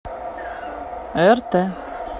рт